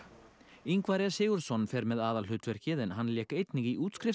Ingvar e Sigurðsson fer með aðalhlutverkið en hann lék einnig í